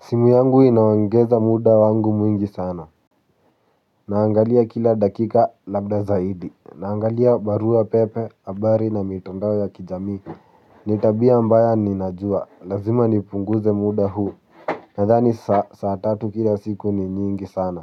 Simu yangu inaongeza muda wangu mwingi sana. Naangalia kila dakika labda zaidi. Naangalia barua pepe, habari na mitandao ya kijamii. Ni tabia mbaya ninajua, lazima nipunguze muda huu. Nadhani saa tatu kila siku ni nyingi sana.